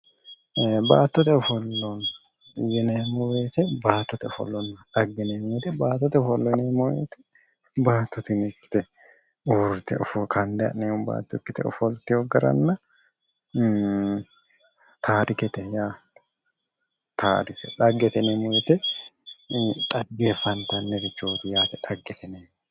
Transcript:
Ee baattote ofollo yineemmo woyte, baattote ofollonna dhagge yineemmo woyte baatto tini hiikkite uurite ofollitino, kande ha'neemmo baatto ikkite ofolliteyo garanna tarikete dhaggete yineemmo woyte dhaggeefattanirichoti yaate dhaggete yineemmori